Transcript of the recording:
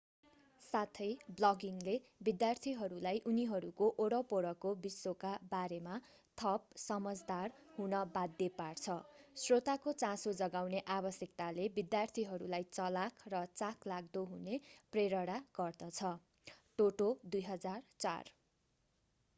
साथै ब्लगिङले विद्यार्थीहरूलाई उनीहरूको वरपरको विश्वका बारेमा थप समझदार हुन बाध्य पार्छ।” श्रोताको चासो जगाउने आवश्यकताले विद्यार्थीहरूलाई चलाख र चाखलाग्दो हुन प्रेरणा प्रदान गर्छ toto 2004।